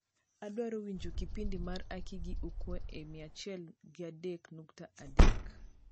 adwaro winjo kipindi mar aki gi ukwe e mia achiel gi adek nukta adek